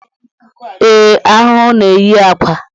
Ee, ahụhụ na-eyi akwa